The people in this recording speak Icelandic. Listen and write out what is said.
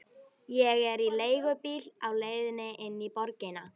Ég er í leigubíl á leiðinni inn í borgina.